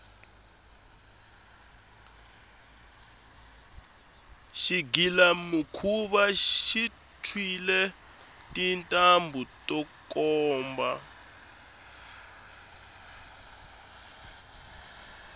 xigilamikhuva xi tshwile tintambhu to komba